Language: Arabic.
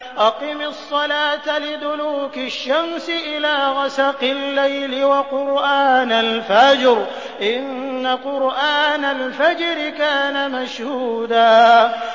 أَقِمِ الصَّلَاةَ لِدُلُوكِ الشَّمْسِ إِلَىٰ غَسَقِ اللَّيْلِ وَقُرْآنَ الْفَجْرِ ۖ إِنَّ قُرْآنَ الْفَجْرِ كَانَ مَشْهُودًا